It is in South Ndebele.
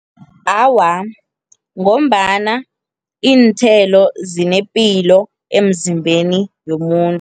Awa, ngombana iinthelo zinepilo emzimbeni womuntu.